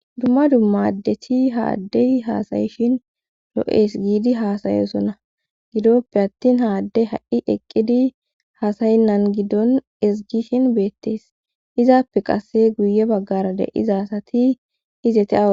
Dumma dumma adethi ha addey haasayishin Loo7ees giidi hasayosonna gidoppe attin haaddey ha7i eqqidi hasaynnan giddon esgishin beettees izaappe qasse guye baggara de iza asati izete awo.